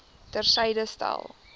ter syde stel